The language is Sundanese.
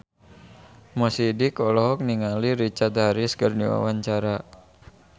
Mo Sidik olohok ningali Richard Harris keur diwawancara